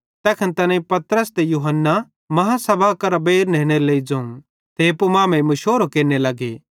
तैखन तैनेईं पतरस ते यूहन्ना आदालती करां बेइर नेनेरे लेइ ज़ोवं ते एप्पू मांमेइं मुशोरो केरने लगे